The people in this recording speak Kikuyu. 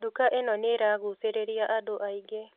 Nduka ĩno nĩiragucĩrĩria andũ aingĩ